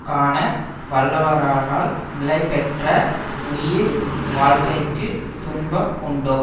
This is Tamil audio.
காண வல்லவரானால் நிலைபெற்ற உயிர் வாழ்க்கைக்கு துன்பம் உண்டோ